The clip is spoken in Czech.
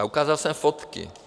A ukázal jsem fotky.